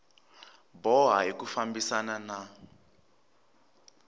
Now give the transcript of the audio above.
boha hi ku fambisana na